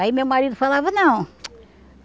Aí meu marido falava, não.